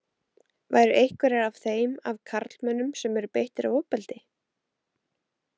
Væru einhverjar af þeim af karlmönnum sem eru beittir ofbeldi?